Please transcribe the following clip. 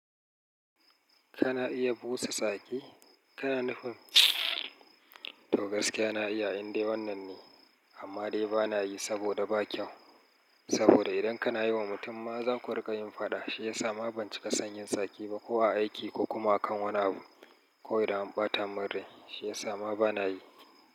Kana iya busa tsaki? Kana nufin? To gaskiya na iya, indai wannan ne, amma dai ba na yi saboda ba kyau. Saboda idan kana yi wa mutum ma za ku rika yin faɗa, shiyasa ma ban cika son yin saki ba ko a aiki ko kuma a kan wani abu ko idan bata mun rai, shiyasa ma ba na yi.